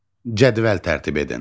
Cədvəl tərtib edin.